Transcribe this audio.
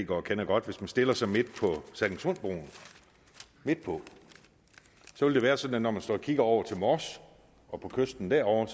går kender godt hvis man stiller sig midt på sallingsundbroen midt på vil det være sådan at når man står og kigger over til mors og på kysten derovre